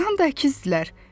Doğrudan da əkizdirlər.